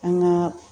An ka